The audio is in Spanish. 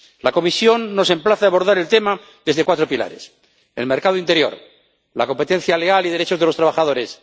La Comisión nos emplaza a abordar el tema desde cuatro pilares el mercado interior la competencia leal y los derechos de los trabajadores